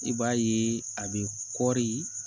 I b'a ye a bɛ kɔri